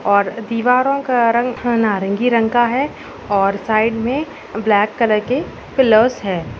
और दीवारों का रंग हाँ नारंगी रंग का हैं और साइड में ब्लैक कलर के पिलर्स हैं।